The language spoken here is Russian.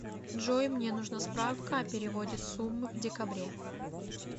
джой мне нужна справка о переводе суммы в декабре